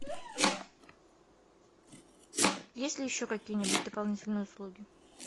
есть ли еще какие нибудь дополнительные услуги